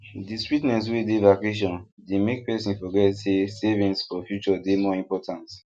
the sweetness wey dey vacation dey make person forget say savings for future dey more important